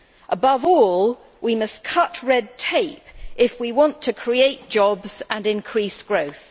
Above all, we must cut red tape if we want to create jobs and increase growth.